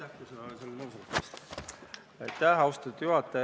Austatud juhataja!